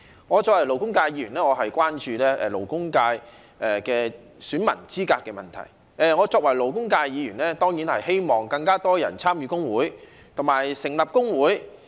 我作為勞工界議員，關注勞工界選民資格的問題；我作為勞工界議員，亦當然希望有更多人參與工會，並且成立工會。